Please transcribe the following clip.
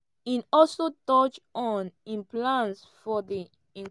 e also touch on im plans for di e.